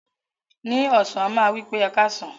Ni ọsan, a ma wipe "Ẹkasan".